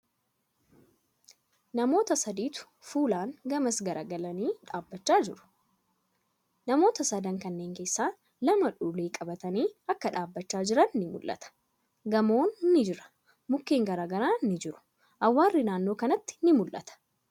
Namoota saditu fuulan gamas garagalanii dhaabbachaa jiru. Namoota sadan kanneen keessaa lama ulee qabatanii akka dhaabbachaa jiran ni mul'ata. Gamoon ni jira. Mukkeen garagaraa ni jiru. Awwaarri naannoo kanatti ni mul'ata.